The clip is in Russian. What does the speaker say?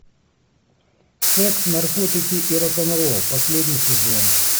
секс наркотики и рок н ролл последний сезон